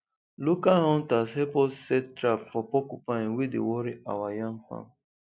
local hunters help us set trap for porcupine wey dey worry our yam farm